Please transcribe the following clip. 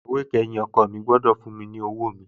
Ìyàwó kẹyìn ọkọ̀ mi gbọ́dọ̀ fún mi lọ́wọ́ mi